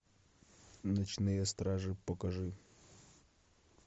ночные стражи покажи